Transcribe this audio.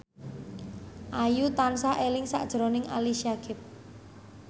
Ayu tansah eling sakjroning Ali Syakieb